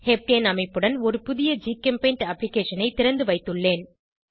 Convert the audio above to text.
heptane அமைப்புடன் ஒரு புதிய ஜிகெம்பெய்ண்ட் அப்ளிகேஷனை திறந்து வைத்துள்ளேன்